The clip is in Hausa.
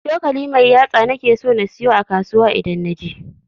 cokali mai yatsa nake so na siyo a kasuwa idan naje.